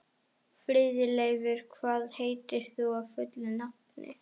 Friðleifur, hvað heitir þú fullu nafni?